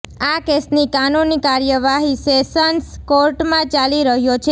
આ કેસની કાનૂની કાર્યવાહી સેશન્સ કોર્ટમાં ચાલી રહ્યો છે